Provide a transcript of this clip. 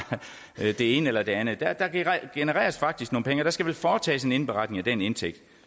det ene eller det andet der genereres faktisk nogle penge og der skal vel foretages en indberetning af den indtægt